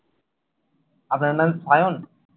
আপনার নাম শায়ন?